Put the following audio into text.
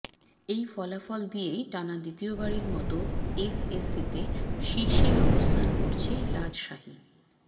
এই ফলাফল দিয়েই টানা দ্বিতীয়বারের মতো এসএসসিতে শীর্ষেই অবস্থান করছে রাজশাহী